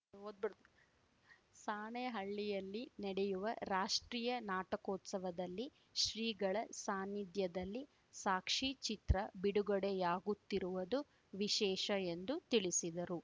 ಓದ್ಬಿಡು ಸಾಣೇಹಳ್ಳಿಯಲ್ಲಿ ನಡೆಯುವ ರಾಷ್ಟ್ರೀಯ ನಾಟಕೋತ್ಸವದಲ್ಲಿ ಶ್ರೀಗಳ ಸಾನಿಧ್ಯದಲ್ಲಿ ಸಾಕ್ಷೀಚಿತ್ರ ಬಿಡುಗಡೆಯಾಗುತ್ತಿರುವದು ವಿಶೇಷ ಎಂದು ತಿಳಿಸಿದರು